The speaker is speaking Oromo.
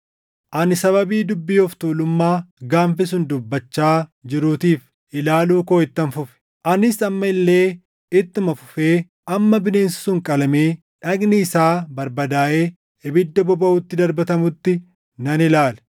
“Ani sababii dubbii of tuulummaa gaanfi sun dubbachaa jiruutiif ilaaluu koo ittan fufe. Anis amma illee ittuma fufee hamma bineensi sun qalamee dhagni isaa barbadaaʼee ibidda bobaʼutti darbatamutti nan ilaale.